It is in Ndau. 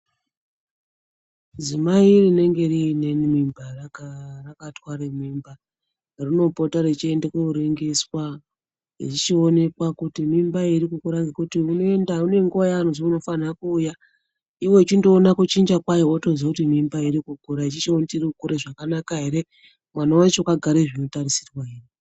Dzimai rinenge riinemimba, rakatwara mimba rinopota rechienda kooningiswa, zvichionekwa kuti mimba iyi iri kukura ngekuti unoenda ngenguwayaanozwi unofana kuuya Iwewe uchichiona kuchinja kwayo. Wotoziya mimba iri kukura iyi uchi chiona kuti iri kukura zvakanaka ere uyezve mwana wacho akagara zvinotarisirwa ere.